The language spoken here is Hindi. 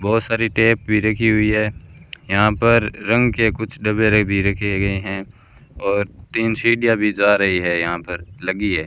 बहुत सारी टेप भी रखी हुई है यहां पर रंग के कुछ डब्बे भी रखे गए हैं और तीन सीढ़ियां भी जा रही है यहां पर लगी है।